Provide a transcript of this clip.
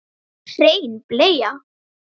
Hrein bleia